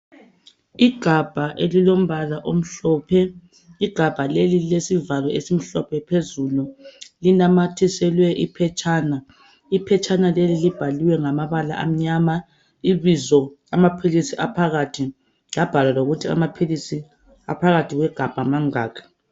Igabha elilombala omhlophe igabha leli lilesivalo esimhlophe phezulu linamathiselwe iphetshana, iphetshana leli libhaliwe ngamabala amnyama ibizo amaphilisi aphakathi labhalwa lokuthi amaphilisi aphakathi kwegabha mangaki.